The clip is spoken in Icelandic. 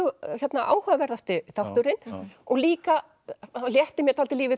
áhugaverðasti þátturinn og líka létti mér dálítið lífið